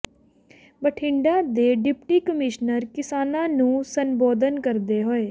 ਬਠਿੰਡਾ ਦੇ deputy commissioner ਕਿਸਾਨਾਂ ਨੂੰ ਸੰਬੋਧਨ ਕਰਦੇ ਹੋਏ